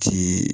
Ci